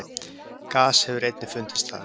Gas hefur einnig fundist þar.